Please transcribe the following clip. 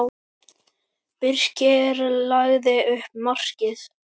Birkir lagði upp markið.